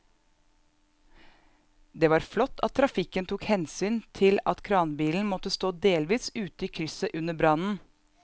Det var flott at trafikken tok hensyn til at kranbilen måtte stå delvis ute i krysset under brannen.